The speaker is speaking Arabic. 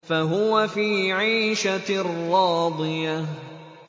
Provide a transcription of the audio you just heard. فَهُوَ فِي عِيشَةٍ رَّاضِيَةٍ